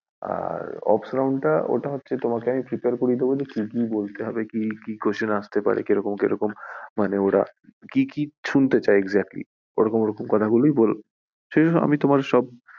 আর round তা তোমাকে prepare করিয়ে দেব কি কি বলতে হবে, কি questions আস্তে পারে কিরকম কিরকম মানে ওরা কি কি শুনতে চায় exactly ওরকম ওরকম কথা গুলি বলবে, আমি তোমার সব